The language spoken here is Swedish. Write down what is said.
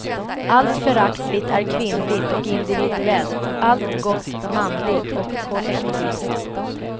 Allt föraktligt är kvinnligt och individuellt, allt gott manligt och kollektivt.